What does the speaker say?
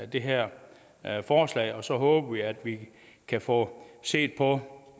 det her forslag og så håber vi at vi kan få set på